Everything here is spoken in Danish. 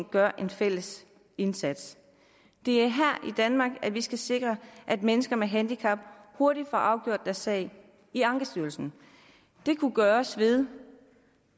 gøre en fælles indsats det er her i danmark vi skal sikre at mennesker med handicap hurtigt får afgjort deres sag i ankestyrelsen det kunne gøres ved